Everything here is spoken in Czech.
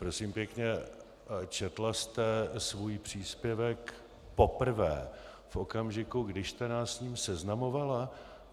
Prosím pěkně, četla jste svůj příspěvek poprvé v okamžiku, když jste nás s ním seznamovala?